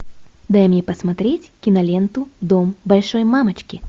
дай мне посмотреть киноленту дом большой мамочки